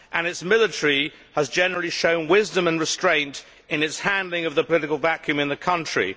Its military has generally shown wisdom and restraint in its handling of the political vacuum in the country.